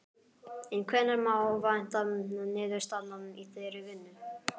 En hvenær má vænta niðurstaðna í þeirri vinnu?